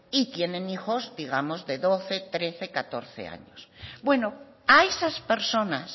y tienen hijos digamos de doce trece o catorce años bueno a esas personas